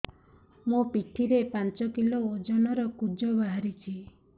ମୋ ପିଠି ରେ ପାଞ୍ଚ କିଲୋ ଓଜନ ର କୁଜ ବାହାରିଛି